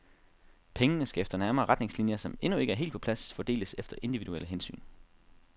Pengene skal efter nærmere retningslinjer, som endnu ikke er helt på plads, fordeles efter individuelle hensyn.